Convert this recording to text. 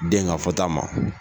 Den ka fɔta ma.